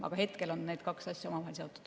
Aga hetkel on need kaks asja omavahel seotud.